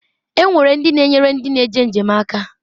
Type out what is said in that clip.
E nwere ndi na-enyere ndi na-eme njem aka.